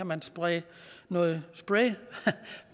man spraye noget spray